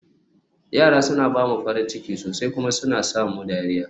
yara suna ba mu farin ciki sosai kuma suna sa mu dariya